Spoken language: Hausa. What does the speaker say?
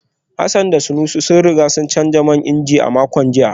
Hassan da Sani sun riga sun canza man inji a makon jiya